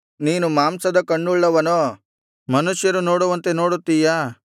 ನೀನು ಮಾಂಸದ ಕಣ್ಣುಳ್ಳವನೋ ಮನುಷ್ಯರು ನೋಡುವಂತೆ ನೋಡುತ್ತೀಯಾ